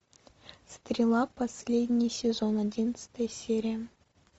стрела последний сезон одиннадцатая серия